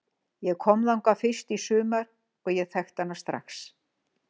Ég kom þangað fyrst í sumar og ég þekkti hana strax.